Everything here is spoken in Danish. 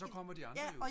så kommer de andre jo